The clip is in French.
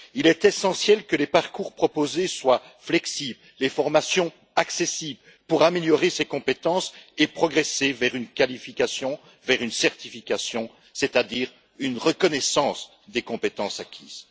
Il est essentiel que les parcours proposés soient flexibles et les formations accessibles pour améliorer ses compétences et progresser vers une qualification, vers une certification, c'est à dire une reconnaissance des compétences acquises.